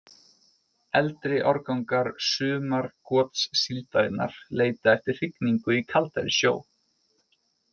Eldri árgangar sumargotssíldarinnar leita eftir hrygningu í kaldari sjó.